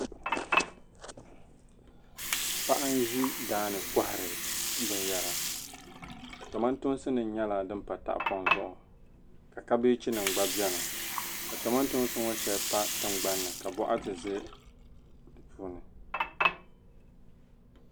Paɣi nzi daani n kohiri bin yara tomantoonsinim, nyɛla din pa tahipɔŋ zuɣu, ka kabeginim gba beni ka tomantoonsi ŋɔ shɛli pa tingban ni ka bɔkati zɛ dipuuni.